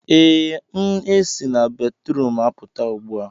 ee, m esi na batrum apụta ugbu a